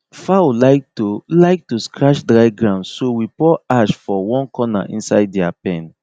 fowl like to like to scratch dry ground so we pour ash for one corner inside their pen